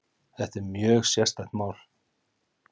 Þetta er mjög sérstætt mál